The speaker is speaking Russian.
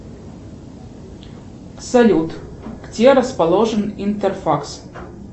салют где расположен интерфакс